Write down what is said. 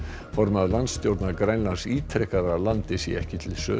formaður landstjórnar Grænlands ítrekar að landið sé ekki til sölu